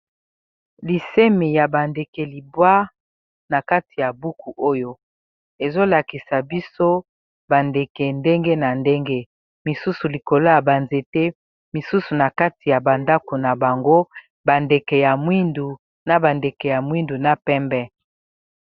Lisemi ya bandeke libwa na kati ya buku oyo, ezolakisa biso bandeke ndenge na ndenge, bisusu likolo ya banzete bisusu na kati ya bandako na bango, bandeke ya mwindu na bandeke ya mwindu na pembe.